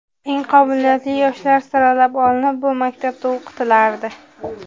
Eng qobiliyatli yoshlar saralab olinib, bu maktabda o‘qitilardi.